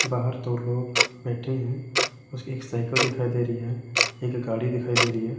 बाहर दो लोग बैठे हैं उसके एक साइकिल दिखाई दे रही है एक गाड़ी दिखाई दे रही है।